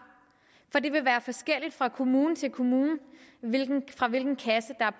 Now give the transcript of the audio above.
for det vil være forskelligt fra kommune til kommune fra hvilken kasse der